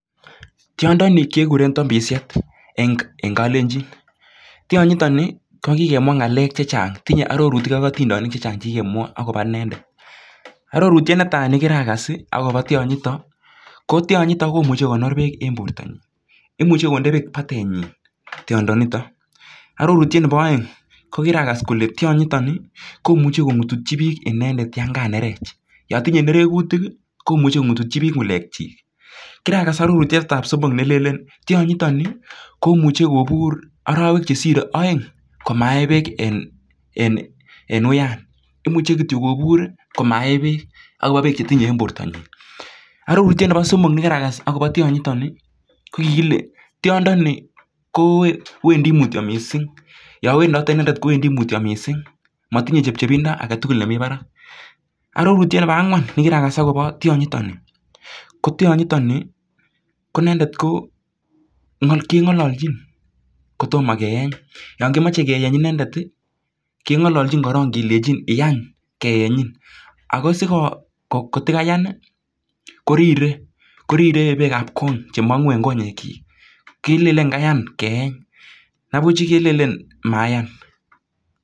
Tyondo ni kekure tombosiet eng kalenjin ak tyonyi kikemwa arorutik chechang ak kyakas imuchi kokonor bek en borto ak komuch kobur arawek aeng amae bek ak age ko wendi loin ak keng'ololjin inendet sikeeny borto nyi